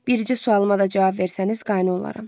Bircə sualıma da cavab versəniz qane olaram.